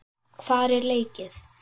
Hvar er leikið?